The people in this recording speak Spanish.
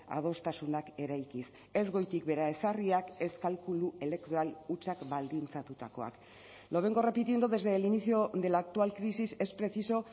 adostasunak eraikiz ez goitik behera ezarriak ez kalkulu elektoral hutsak baldintzatutakoak lo vengo repitiendo desde el inicio de la actual crisis es preciso